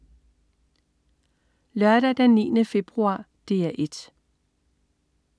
Lørdag den 9. februar - DR 1: